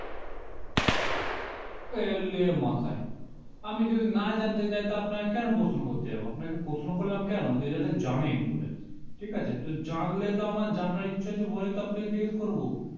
এলে মাথায় আমি যদি না জানতে চাই তা আপনাকে কেন প্রশ্ন করতে যাবো আপনাকে প্রশ্ন করলাম কেনো যে যাতে জানেন বলে ঠিক আছে তো জানলে তো আমার জানার ইচ্ছে আছে বলেই তো আপনাকে জিজ্ঞেস করবো